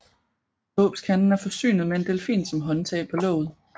Dåbskanden er forsynet med en delfin som håndtag på låget